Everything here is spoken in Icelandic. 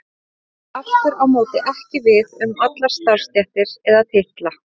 Þetta á aftur á móti ekki við um allar starfstéttir eða titla.